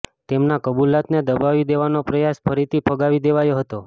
તેમના કબૂલાતને દબાવી દેવાનો પ્રયાસ ફરીથી ફગાવી દેવાયો હતો